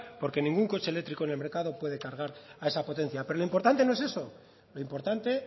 porque ningún coche eléctrico en el mercado puede cargar a esa potencia pero lo importante no es eso lo importante